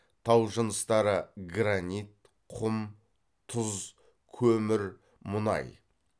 тау жыныстары гранит құм тұз көмір мұнай